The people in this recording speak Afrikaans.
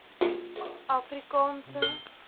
afrikaanse